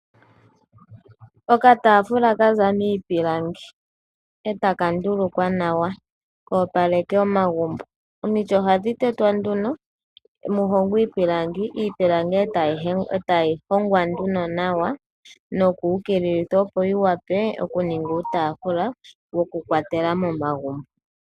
Okatafula ka za miipilangi e taka ndulukwa nawa ka opaleke omagumbo. Omiti ohadhi tetwa nduno mu hongwe iipilangi, iipilangi e tayi hongwa nduno nawa, noku ukililithwa opo yi wape okuninga uutafula wokukwatela momagumbo.